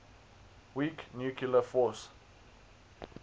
weak nuclear force